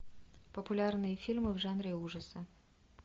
популярные фильмы в жанре ужасы